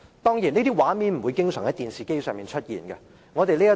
當然，這些畫面不常在電視機出現。